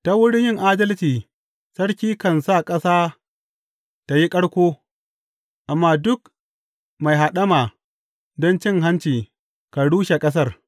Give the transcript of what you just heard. Ta wurin yin adalci sarki kan sa ƙasa tă yi ƙarƙo amma duk mai haɗama don cin hanci kan rushe ƙasar.